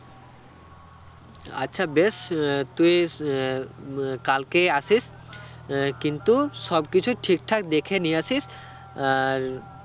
আচ্ছা বেশ আহ তুই আহ উম কালকেই আসিস আহ কিন্তু সব কিছু ঠিক ঠাক দেখে নিয়ে আসিস আর